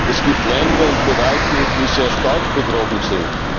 Es gibt Länder und Bereiche, die sehr stark betroffen sind.